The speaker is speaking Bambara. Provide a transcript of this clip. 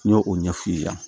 N y'o ɲɛ f'u ɲɛna